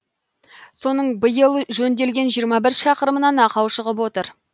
соның биыл жөнделген жиырма бір шақырымынан ақау шығып отыр